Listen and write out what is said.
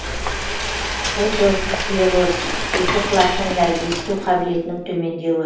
отосклероз екі құлақтың да есіту қабілетінің төмендеуі